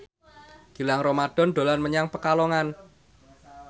Gilang Ramadan dolan menyang Pekalongan